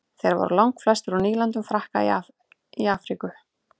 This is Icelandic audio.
þeir voru langflestir úr nýlendum frakka í afríku